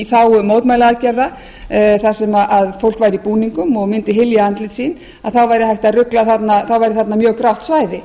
þágu mótmælaaðgerða þar sem fólk væri í búningum og mundi hylja andlit sín þá væri þarna mjög grátt svæði